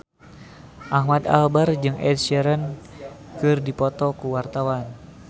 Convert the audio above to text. Ahmad Albar jeung Ed Sheeran keur dipoto ku wartawan